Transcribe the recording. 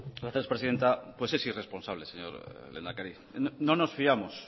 gracias presidenta pues es irresponsable señor lehendakari no nos fiamos